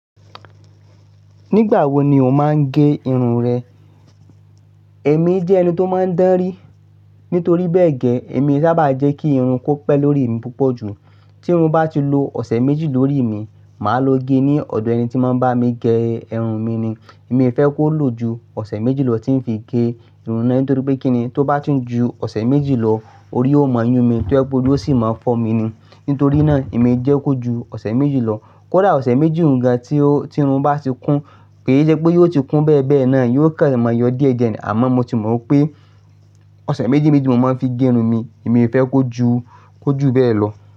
Nígbà wo ni o máa ń ge irun rẹ? Èmi jẹ́ ẹni tó máa ń dánrí. Nítorí bẹ́ẹ̀ gẹ, èmi i sábà jẹ́ kí irun kó pẹ́ lórí mi púpọ̀ ju. Tí irun bá ti lo ọ̀sẹ̀ méjì lórí mi, màá lo ge ní ọ̀dọ̀ ẹni tí máa ń bá mi gẹ irun mi ni. Mii fẹ́ kó lò ju ọ̀sẹ̀ méjì lọ tí ń fi gẹ irun náà. Nítorí pé kíni, tó bá ti n ju ọ̀sẹ̀ méjì lọ, orí ó máa yún mi, tó ye gbe ori ó sì máa fọ́ mi ni. Nítorí náà, èmi jẹ́ kó ju ọ̀sẹ̀ méjì lọ. Kódà ọ̀sẹ̀ méjì ń ga tí irun bá ti kún, ki i se pé yóò ti kún bẹ́ẹ̀ bẹ́ẹ̀ náà, yóò kan máa yọ díẹ̀ díẹ̀. Àmọ́ mo ti mọ̀ pé ọ̀sẹ̀ méjì méjì mo máa ń fi gẹ irun mi. Èmi fẹ́ kó ju, kó ju bẹ́ẹ̀ lọ.